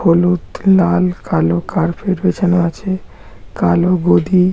হলুদ লাল কালো কার্পেট বিছানো আছে কালো গদি।